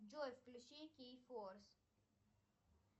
джой включи кей форс